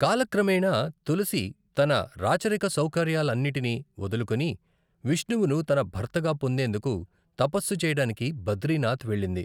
కాలక్రమేణా, తులసి తన రాచరిక సౌకర్యాలన్నింటినీ వదులుకుని, విష్ణువును తన భర్తగా పొందేందుకు తపస్సు చేయడానికి బద్రీనాథ్ వెళ్ళింది.